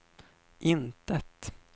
intet